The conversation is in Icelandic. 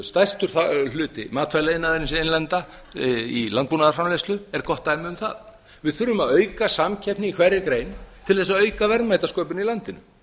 stærstur hluti matvælaiðnaðarins innlenda í landbúnaðarframleiðslu er gott dæmi um það við þurfum að auka samkeppni í hverri grein til að auka verðmætasköpun í landinu